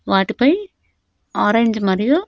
వాటిపై ఆరెంజ్ మరియు.